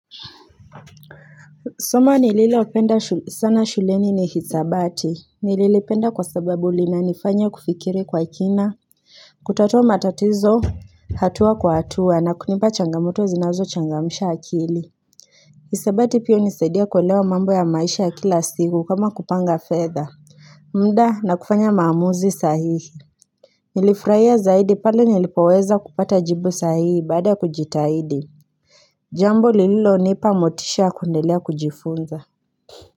Somo nililopenda sana shuleni ni hisabati. Nililipenda kwa sababu linanifanya kufikiri kwa kina. Kutatua matatizo hatua kwa hatua na kunipa changamoto zinazochangamsha akili. Hisabati pio hunisaidia kuelewa mambo ya maisha ya kila siku kama kupanga fedha. Muda na kufanya maamuzi sahihi. Nilifurahia zaidi pale nilipoweza kupata jibu sahihi baada ya kujitahidi. Jambo lililonipa motisha ya kuendelea kujifunza.